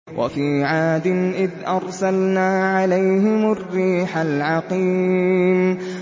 وَفِي عَادٍ إِذْ أَرْسَلْنَا عَلَيْهِمُ الرِّيحَ الْعَقِيمَ